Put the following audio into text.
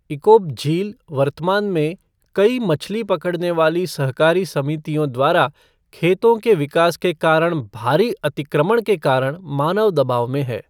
इकोप झील वर्तमान में कई मछली पकड़ने वाली सहकारी समितियों द्वारा खेतों के विकास के कारण भारी अतिक्रमण के कारण मानव दबाव में है।